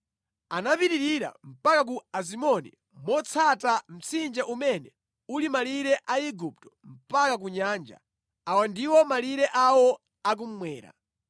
Anapitirira mpaka ku Azimoni motsata mtsinje umene uli malire a Igupto mpaka ku nyanja. Awa ndiwo malire awo a kummwera.